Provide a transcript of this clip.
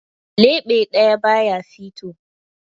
Leɓe ɗaya ba ya fito.